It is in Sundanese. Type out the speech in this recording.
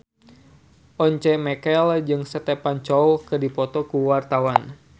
Once Mekel jeung Stephen Chow keur dipoto ku wartawan